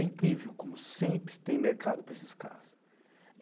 É incrível como sempre tem mercado para esses caras.